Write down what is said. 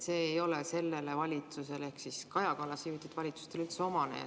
See ei ole sellele valitsusele Kaja Kallase juhitud valitsustele üldse omane.